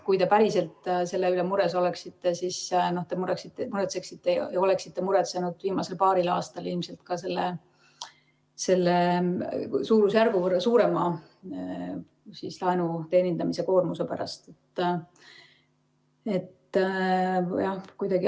Kui te päriselt selle pärast mures oleksite, siis te oleksite muretsenud viimasel paaril aastal ilmselt ka selle suurusjärgu võrra suurema laenuteenindamise koormuse pärast.